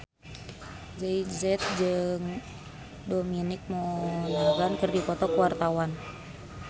Meggie Z jeung Dominic Monaghan keur dipoto ku wartawan